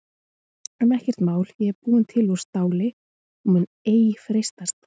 En ekkert mál ég er búin til úr STÁLI og mun ei freistast.